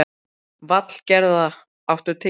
Valgerða, áttu tyggjó?